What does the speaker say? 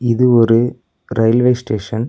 இது ஒரு railway station .